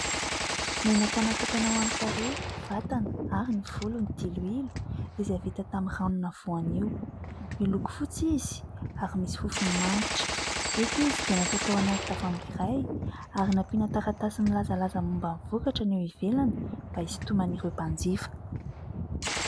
Menaka natokana ho amin'ny tarehy, vatana ary ny volo ny diloilo izay vita tamin'ny ranona voanio, miloko fotsy izy ary misy fofony manitra. Eto izy dia natao tao anaty tavoahangy iray, ary nampiana taratasy milazalaza momba ny vokatra ny eo ivelany, mba hisitonana ireo mpanjifa.